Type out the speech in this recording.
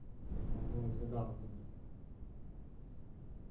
നമ്മളിന്ന് കാണിന്നിണ്ട്